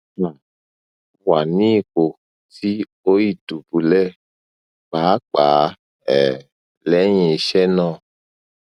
um wa ni ipo ti oi dubulẹ paapaa um lẹhin iṣe naa